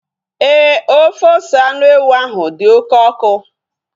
Éè, ofe ose anụ ewu ahu dị oké ọkụ